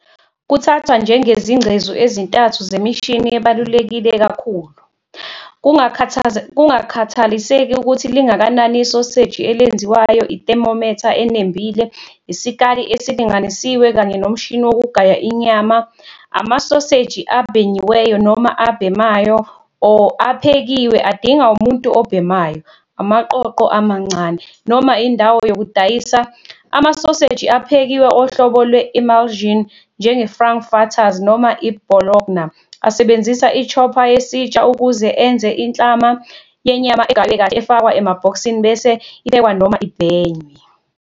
Kuthathwa njengezingcezu ezintathu zemishini ebaluleke kakhulu, kungakhathaliseki ukuthi lingakanani isoseji elenziwayo ithermometer enembile, isikali esilinganisiwe, kanye nomshini wokugaya inyama. Amasoseji abhenyiweyo noma abhemayo or aphekiwe adinga umuntu obhemayo, amaqoqo amancane, noma indawo yokudayisa. Amasoseji aphekiwe ohlobo lwe-emulsion, njenge-frankfurters noma i-bologna, asebenzisa i-chopper yesitsha ukuze enze inhlama yenyama egaywe kahle efakwa emabhokisini bese iphekwa noma ibhenywe.